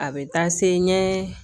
A bɛ taa se ɲɛ